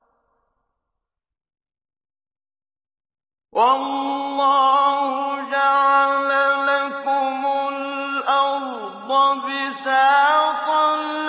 وَاللَّهُ جَعَلَ لَكُمُ الْأَرْضَ بِسَاطًا